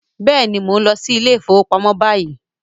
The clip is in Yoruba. Yes, I am going to the bank now